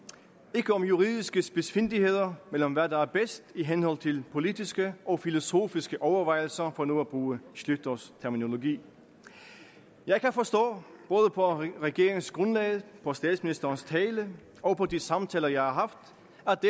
ikke om juridiske spidsfindigheder men om hvad der er bedst i henhold til politiske og filosofiske overvejelser for nu at bruge schlüters terminologi jeg kan forstå både på regeringsgrundlaget på statsministerens tale og på de samtaler jeg har haft